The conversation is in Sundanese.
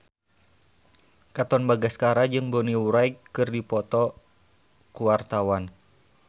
Katon Bagaskara jeung Bonnie Wright keur dipoto ku wartawan